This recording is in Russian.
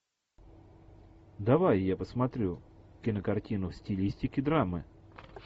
давай я посмотрю кинокартину в стилистике драмы